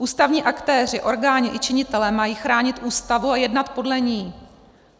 Ústavní aktéři, orgány i činitelé mají chránit Ústavu a jednat podle ní.